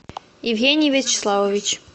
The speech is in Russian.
евгений вячеславович